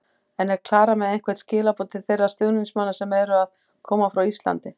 En er Klara með einhver skilaboð til þeirra stuðningsmanna sem eru að koma frá Íslandi?